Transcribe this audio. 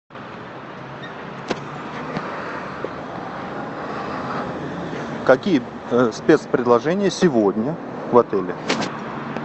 какие спецпредложения сегодня в отеле